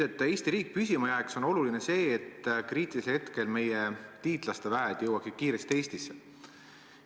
Et Eesti riik püsima jääks, on oluline, et kriitilisel hetkel jõuaksid meie liitlaste väed kiiresti Eestisse.